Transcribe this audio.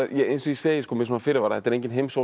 eins og ég segi með fyrirvara þetta er enginn